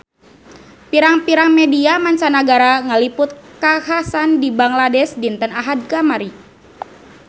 Pirang-pirang media mancanagara ngaliput kakhasan di Bangladesh dinten Ahad kamari